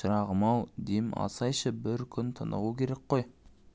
шырағым-ау дем алсайшы бір күн тынығу керек қой